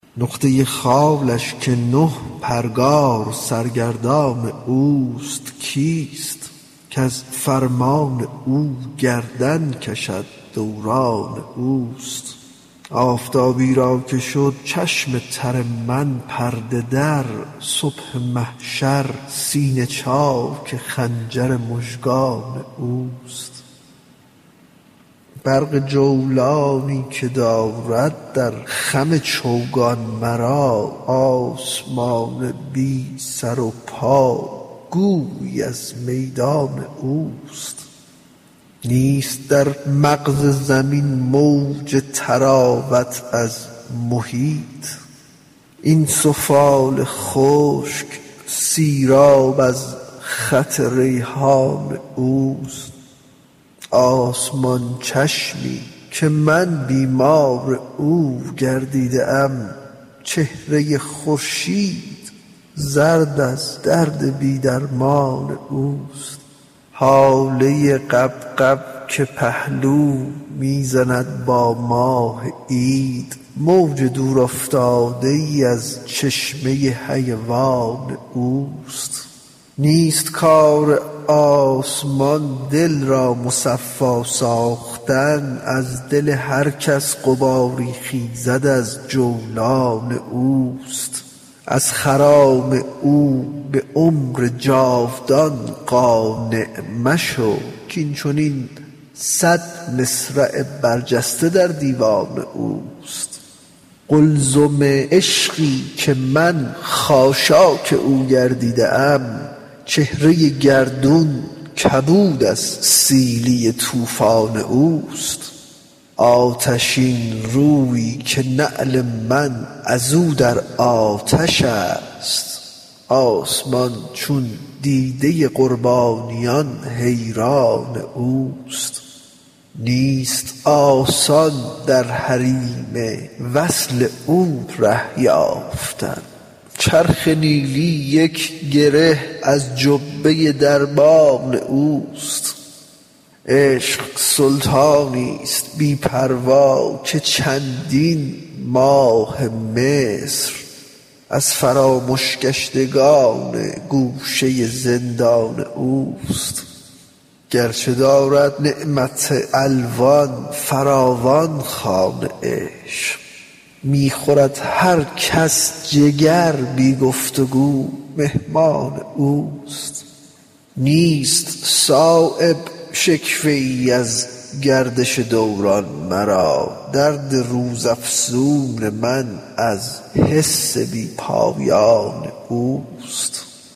نقطه خالش که نه پرگار سرگردان اوست کیست کز فرمان او گردن کشد دوران اوست آفتابی را که شد چشم تر من پرده دار صبح محشر سینه چاک خنجر مژگان اوست برق جولانی که دارد در خم چوگان مرا آسمان بی سر و پا گویی از میدان اوست نیست در مغز زمین موج طراوت از محیط این سفال خشک سیراب از خط ریحان اوست آسمان چشمی که من بیمار او گردیده ام چهره خورشید زرد از درد بی درمان اوست هاله غبغب که پهلو می زند با ماه عید موج دور افتاده ای از چشمه حیوان اوست نیست کار آسمان دل را مصفا ساختن از دل هر کس غباری خیزد از جولان اوست از خرام او به عمر جاودان قانع مشو کاین چنین صد مصرع برجسته در دیوان اوست قلزم عشقی که من خاشاک او گردیده ام چهره گردون کبود از سیلی طوفان است آتشین رویی که نعل من ازو در آتش است آسمان چون دیده قربانیان حیران اوست نیست آسان در حریم وصل او ره یافتن چرخ نیلی یک گره از جبهه دربان اوست عشق سلطانی است بی پروا که چندین ماه مصر از فرامش گشتگان گوشه زندان اوست گرچه دارد نعمت الوان فراوان خوان عشق می خورد هر کس جگر بی گفتگو مهمان اوست نیست صایب شکوه ای از گردش دوران مرا درد روز افزون من از حسن بی پایان اوست